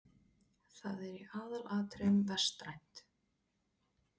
Það er í aðalatriðum vestrænt.